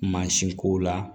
Mansinkow la